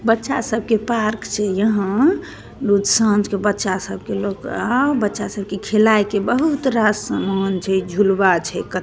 बच्चा सबके पार्क छै यहाँ सांझ के बच्चा सबके लोग आ बच्चा सब के खिलाय के बहुत रास समान छै झुलवा छै।